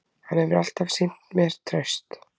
Hann hefur alltaf sýnt mér traust